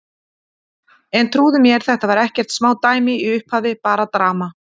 En trúðu mér, þetta var ekkert smá dæmi í upphafi, bara drama.